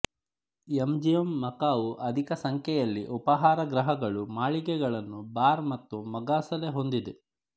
MGM Macau ಅಧಿಕ ಸಂಖ್ಯೆಯಲ್ಲಿ ಉಪಹಾರ ಗೃಹಗಳು ಮಳಿಗೆಗಳನ್ನು ಬಾರ್ ಮತ್ತು ಮೊಗಸಾಲೆ ಹೊಂದಿದೆ